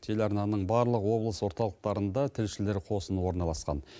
телеарнаның барлық облыс орталықтарында тілшілер қосыны орналасқан